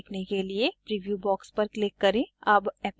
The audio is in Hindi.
इफ़ेक्ट को देखने के लिए preview box पर क्लिक करें